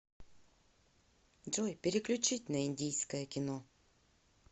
джой переключить на индийское кино